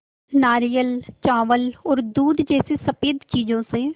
नारियल चावल और दूध जैसी स़फेद चीज़ों से